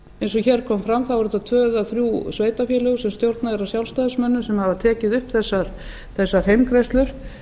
eins og hér kom fram eru þetta tvö eða þrjú sveitarfélög sem stjórnað er af sjálfstæðismönnum sem hafa tekið upp þessar heimgreiðslur